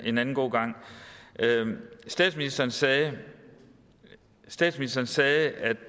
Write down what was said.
en anden god gang statsministeren sagde statsministeren sagde at